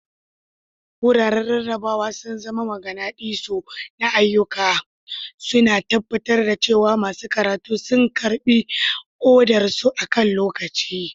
Wuraren rarrabawa sun zama maganadisu na ayyuka, suna tabbatar da cewa masu karatu sun karɓi odarsu akan lokaci.